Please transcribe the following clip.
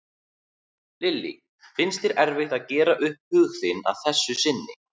Lillý: Finnst þér erfitt að gera upp hug þinn að þessu sinni?